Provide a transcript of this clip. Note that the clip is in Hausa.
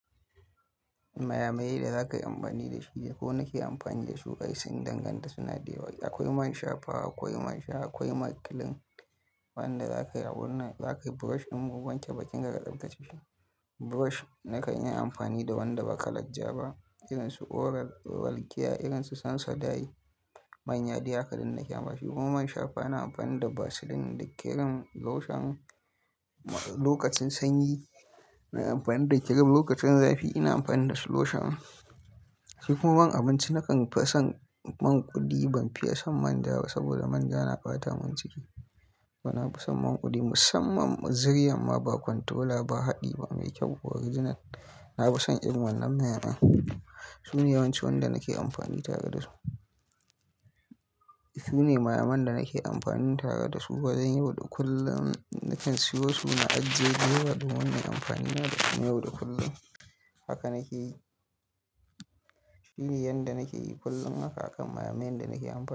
Maya mayen da za ka yi amfani da shi, da ko nake amfani da su kai sun danganta suna da yawa. Akwai man shafa, akwai man sha, akwai makilin, wanda za ka yi abunnan, za ka yi brush in mun wanke bakin ka ka tsabtacce shi. Brush nakan yi amfani da wanda ba kalaja ba irin su Oral-B, Oral-care, irin su Sensodyne, manya dai haka duk nake amfani su. Kuma man shafa ina amfani da Vaseline da kirim loshon, lokacin sanyi na yi amfani da kirim, lokacin zafi ina amfani da lotion. Shi kuma man abinci nakan fi son man kuli, ban fiye son manja ba saboda manja na ɓata min ciki. Bana fi son man kuli musamman ziryan amma ba kwantola ba, haɗi ba, mai kyau kuwa riginar. Na fi son irin wannan man kudi. Su ne yawancin wanda nake amfani tare da su. Su ne maya mayan da nake amfani tare da su wajan yau da kullum nakan siyo su, na ajiye su yau da kullum nake amfani da su yau da kullum. Haka nake yi. Shi ne yadda nake yi kullum haka akan maya mayen da nake amfani da su.